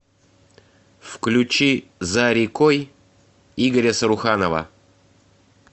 включи за рекой игоря саруханова